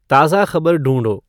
ताज़ा खबर ढूँढो